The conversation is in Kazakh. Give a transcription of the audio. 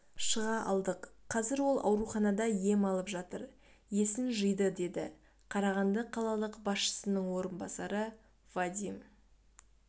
шыға алдық қазір ол ауруханада ем алып жатыр есін жиды деді қарағанды қалалық басшысының орынбасары вадим